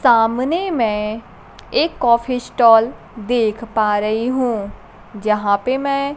सामने मैं एक कॉफी स्टॉल देख पा रही हूं जहां पे मैं --